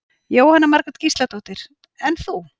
Jóhanna Margrét Gísladóttir: En þú?